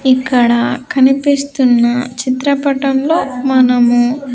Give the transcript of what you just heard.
ఇక్కడ కనిపిస్తున్న చిత్రపటంలో మనము --